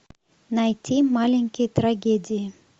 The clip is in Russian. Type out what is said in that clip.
найти маленькие трагедии